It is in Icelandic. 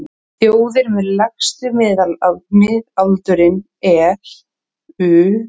Þjóðir með lægsta miðaldurinn eru: